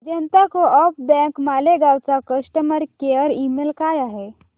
जनता co-op bank Malegaon चा customer care email काय आहे